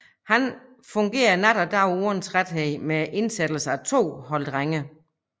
Kan fungere nat og dag uden træthed med indsættelse af to hold drenge